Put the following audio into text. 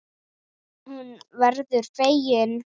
Hún verður fegin.